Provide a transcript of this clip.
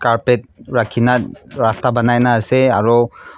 carpet rakina rasta banai na ase aro.